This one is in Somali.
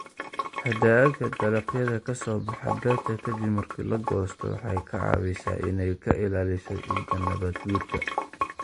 Hadhaaga dalagyada ka soo baxa beerta ka dib marka la goosto waxay ka caawisaa inay ka ilaaliso ciidda nabaadguurka.